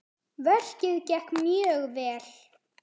Verkið gekk mjög vel.